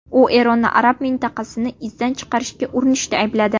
U Eronni arab mintaqasini izdan chiqarishga urinishda aybladi.